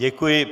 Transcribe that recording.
Děkuji.